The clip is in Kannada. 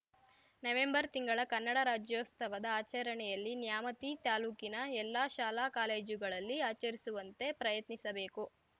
ನವೆಂಬರ್‌ ತಿಂಗಳ ಕನ್ನಡ ರಾಜ್ಯೋಸ್ತವದ ಆಚರಣೆಯಲ್ಲಿ ನ್ಯಾಮತಿ ತಾಲೂಕಿನ ಎಲ್ಲ ಶಾಲಾ ಕಾಲೇಜುಗಳಲ್ಲಿ ಆಚರಿಸುವಂತೆ ಪ್ರಯತ್ನಿಸಬೇಕು